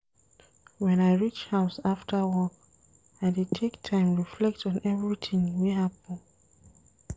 Wen I reach house after work, I dey take time reflect on everytin wey happen.